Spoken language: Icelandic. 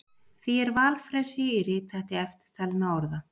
Því er valfrelsi í rithætti eftirtalinna orða: